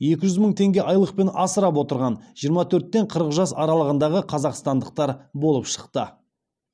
екі жүз мың теңге айлықпен асырап отырған жиырма төрттен қырық жас аралығындағы қазақстандықтар болып шықты